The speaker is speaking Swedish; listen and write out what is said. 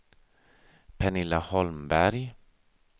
Pernilla Holmberg